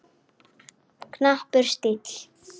Knappur stíll.